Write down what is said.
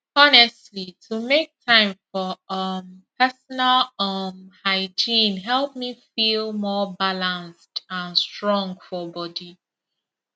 honestly to make time for um personal um hygiene help me feel more balanced and strong for body